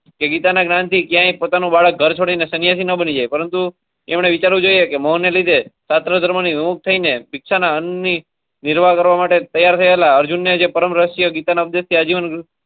કે ગીતા ના જ્ઞાન થી ક્યાય પોતાનું બાળક ઘર છોડી ને સન્યાસી નો બની જાય પરંતુ એમને વિચારવું જોઈએ કે મોહ ને લીધે નિર્વા કરવા મતે તૈયાર થતા અર્જુન ને જે પરમ રહસ્ય ગીતા ના ઉપદેશ થી.